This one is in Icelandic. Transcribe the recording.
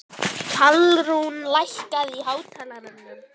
Pálrún, lækkaðu í hátalaranum.